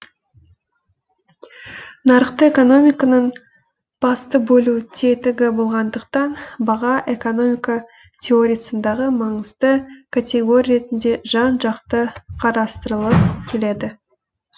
нарықтық экономиканың басты бөлу тетігі болғандықтан баға экономика теориясындағы маңызды категория ретінде жан жақты қарастырылып келеді